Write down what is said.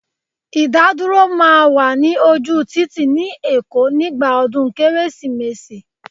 Idaduro máa wà ní ojú títì ni èkó nígbà ọdún Kérésìmesì